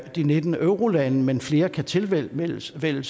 de nitten eurolande men at flere kan tilvælge tilvælge